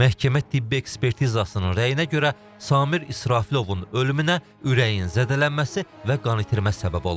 Məhkəmə tibbi ekspertizasının rəyinə görə Samir İsrafilovun ölümünə ürəyin zədələnməsi və qan itirməsi səbəb olub.